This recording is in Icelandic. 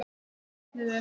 Þrátt fyrir nafnið er.